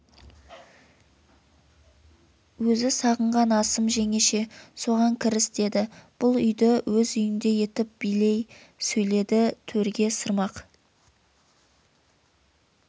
өзі сағынған асым жеңеше соған кіріс деді бұл үйді өз үйіндей етіп билей сөйледі төрге сырмақ